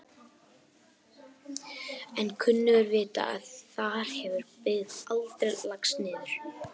En kunnugir vita að þar hefur byggð aldrei lagst niður.